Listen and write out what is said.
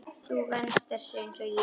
Þú venst þessu einsog ég.